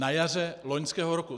Na jaře loňského roku!